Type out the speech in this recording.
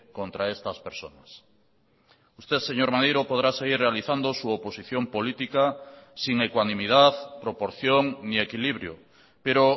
contra estas personas usted señor maneiro podrá seguir realizando su oposición política sin ecuanimidad proporción ni equilibrio pero